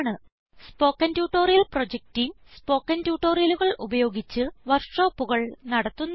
spoken tutorial project team spoken ട്യൂട്ടോറിയലുകൾ ഉപയോഗിച്ച് വർക്ക്ഷോപ്പുകൾ നടത്തുന്നു